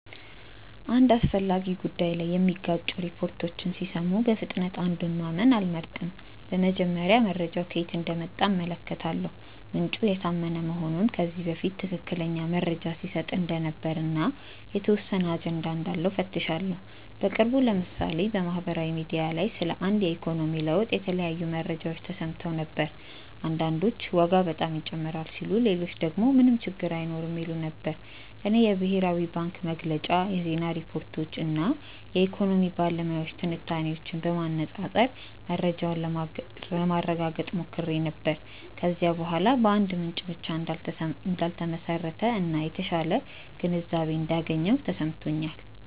አንድ አስፈላጊ ጉዳይ ላይ የሚጋጩ ሪፖርቶችን ሲሰሙ በፍጥነት አንዱን ማመን አልመርጥም። በመጀመሪያ መረጃው ከየት እንደመጣ እመለከታለሁ፤ ምንጩ የታመነ መሆኑን፣ ከዚህ በፊት ትክክለኛ መረጃ ሲሰጥ እንደነበር እና የተወሰነ አጀንዳ እንዳለው እፈትሻለሁ። በቅርቡ ለምሳሌ በማህበራዊ ሚዲያ ላይ ስለ አንድ የኢኮኖሚ ለውጥ የተለያዩ መረጃዎች ተሰምተው ነበር። አንዳንዶች ዋጋ በጣም ይጨምራል ሲሉ ሌሎች ደግሞ ምንም ችግር አይኖርም ይሉ ነበር። እኔ የብሔራዊ ባንክ መግለጫ፣ የዜና ሪፖርቶች እና የኢኮኖሚ ባለሙያዎች ትንታኔዎችን በማነፃፀር መረጃውን ለማረጋገጥ ሞክሬ ነበር። ከዚያ በኋላ በአንድ ምንጭ ብቻ እንዳልተመሰረተ እና የተሻለ ግንዛቤ እንዳገኘሁ ተሰምቶኛል።